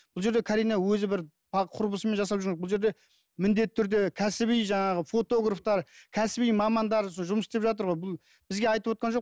бұл жерде карина өзі бір құрбысымен жасап жүрген жоқ бұл жерде міндетті түрде кәсіби жаңағы фотографтар кәсіби мамандар жұмыс істер жатыр ғой бұл бізге айтывотқан жоқ